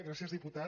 gràcies diputat